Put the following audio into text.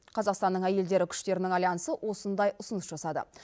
қазақстанның әйелдері күштерінің альянсы осындай ұсыныс жасады